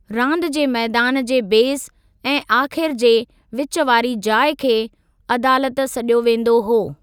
रांदि जे मैदान जे बेसि ऐं आख़िर जे विचु वारी जाइ खे 'अदालत' सॾियो वेंदो हो।